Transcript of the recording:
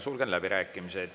Sulgen läbirääkimised.